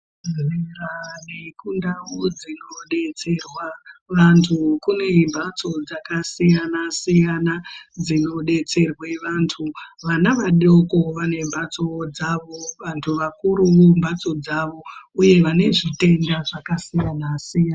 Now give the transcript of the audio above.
...bhehlera nekundau dzinodetserwa vantu kunemhatso dzakasiyana-siyana dzinodetserwe vantu. Vana vadoko vanembatsowo dzavo, vantu vakuru mbatso dzavo uye vane zvitenda zvakasiyana-siyana.